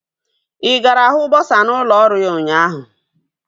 Ị gara hụ bọsa n'ụlọ ọrụ ya ụnyaahụ?